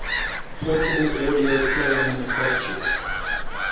portable audio player manufacturers